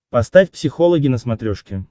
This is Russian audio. поставь психологи на смотрешке